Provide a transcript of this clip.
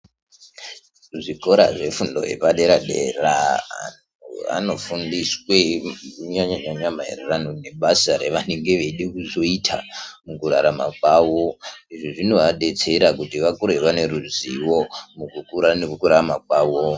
Zvikora zvefundo yepadera dera vanofundiswe kunyanya nyanya maererano nebasa ravanenge veida kuzoita mukurarama kwavo izvi zvinovadetsera kuti vakure vane ruzivo mukukura nemukurarama kwavo.